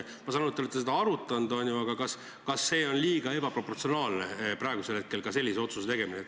Ma saan aru, et te olete seda arutanud, aga kas praegu oleks sellise otsuse tegemine liiga ebaproportsionaalne?